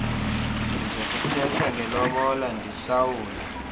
ndizokuthetha ngelobola ndihlawule